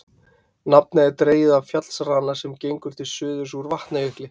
Nafnið er dregið af fjallsrana sem gengur til suðurs úr Vatnajökli.